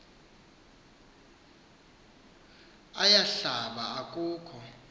aya hlaba akukho